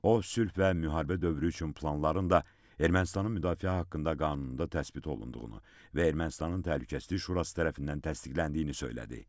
O sülh və müharibə dövrü üçün planların da Ermənistanın müdafiə haqqında qanununda təsbit olunduğunu və Ermənistanın Təhlükəsizlik Şurası tərəfindən təsdiqləndiyini söylədi.